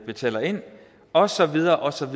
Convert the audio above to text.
betaler ind og så videre og så